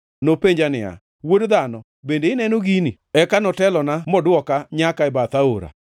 Nopenja niya, “Wuod dhano, bende ineno gini?” Eka notelona modwoka nyaka e bath aora.